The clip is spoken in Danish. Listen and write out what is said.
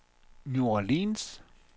New Orleans